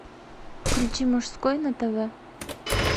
включи мужской на тв